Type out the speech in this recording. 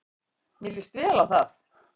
Mér lýst vel á það.